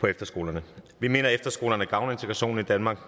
på efterskolerne vi mener at efterskolerne gavner integrationen i danmark